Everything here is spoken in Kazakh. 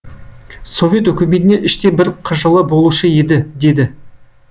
совет өкіметіне іштей бір қыжылы болушы еді деді